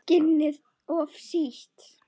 Skinnið of sítt.